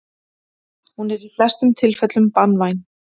hún er í flestum tilfellum banvæn